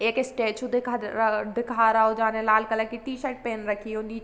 एक स्टेचू दिखा द दिखा रहा है जाने लाल कलर कि टी-शर्ट पहन रखी होगी --